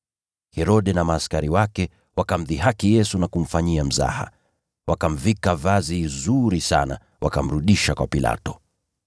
Herode na askari wake wakamdhihaki Yesu na kumfanyia mzaha. Wakamvika vazi zuri sana, wakamrudisha kwa Pilato.